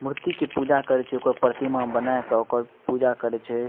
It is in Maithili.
मूर्ति के पूजा करे छै ओकर प्रतिमा बना के ओकर पूजा करे छै।